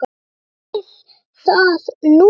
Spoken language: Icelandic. Prófið það núna.